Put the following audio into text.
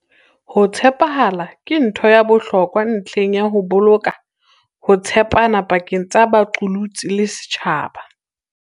Ho tshepahala ke ntho ya bohlokwa ntlheng ya ho boloka ho tshepana pakeng tsa baqolotsi le setjhaba.